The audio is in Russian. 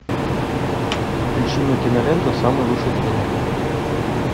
включи мне киноленту самый лучший тренер